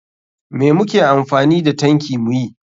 Me muke amfani da tanki muyi?